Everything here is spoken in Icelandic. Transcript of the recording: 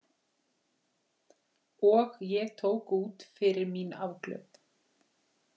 Og ég tók út fyrir mín afglöp.